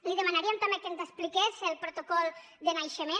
li demanaríem també que ens expliqués el protocol de naixement